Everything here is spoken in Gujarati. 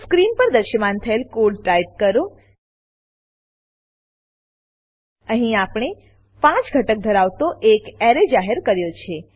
સ્ક્રીન પર દ્રશ્યમાન થયેલ કોડ ટાઈપ કરો અહીં આપણે 5 ઘટક ધરાવતો એક અરે એરે જાહેર કર્યો છે